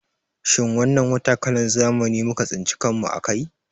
Shin wannan wata kalan zamani muka tsinci kan mu a kai